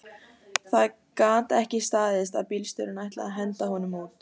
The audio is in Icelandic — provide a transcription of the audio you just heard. Það gat ekki staðist að bílstjórinn ætlaði að henda honum út